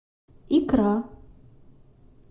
икра